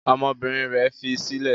Ọmọbìnrin rẹ̀ fi sílẹ̀?